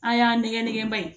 An y'an nɛgɛn nɛgɛn